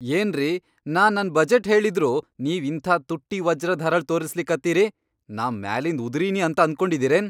ಏನ್ರಿ ನಾ ನನ್ ಬಜೆಟ್ ಹೇಳಿದ್ರೂ ನೀವ್ ಇಂಥಾ ತುಟ್ಟಿ ವಜ್ರದ್ ಹರಳ್ ತೋರಸ್ಲಕತ್ತಿರಿ, ನಾ ಮ್ಯಾಲಿಂದ್ ಉದರಿನಿ ಅಂತ ಅನ್ಕೊಂಡಿರೇನ್?